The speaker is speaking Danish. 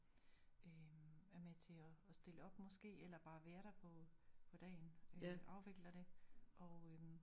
Øh er med til at stille op måske eller bare være der på dagen øh afvikler det og øh